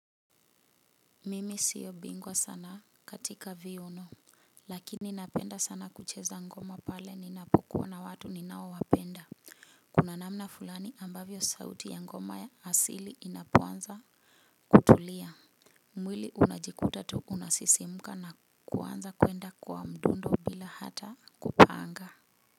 Mimi siyo bingwa sana katika viuno lakini napenda sana kucheza ngoma pale ninapokuwa na watu ninaowapenda. Kuna namna fulani ambavyo sauti ya ngoma ya asili inapoanza kutulia. Mwili unajikuta tu unasisimuka na kuanza kuenda kwa mdundo bila hata kupanga.